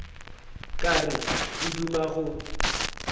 ka re o duma go